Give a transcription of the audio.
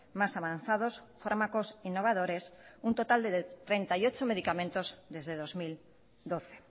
más avanzados fármacos innovadores un total de treinta y ocho medicamentos desde dos mil doce